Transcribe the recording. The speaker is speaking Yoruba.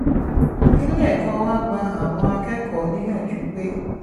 ilé ẹ̀kọ́ wa gba àwọn akẹ́kọ̀ọ́ níyànjú pé